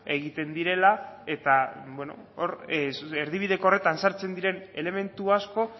egiten direla eta bueno hor erdibideko horretan sartzen diren elementu asko